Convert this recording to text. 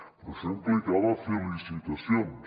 però això implicava fer licitacions